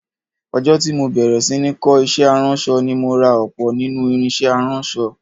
Ọjọ́ tí mo bẹ̀rẹ̀ sí ní kọ́ iṣẹ́ aránṣọ ni mo ra ọ̀pọ̀ nínú irinṣẹ́ aránṣọ